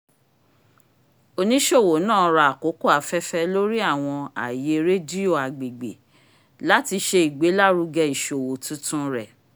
oniṣowo náà rà àkókò afẹ́fẹ́ lórí àwọn aaye rediyo agbègbè láti ṣe igbelaruge iṣowo tuntun rẹ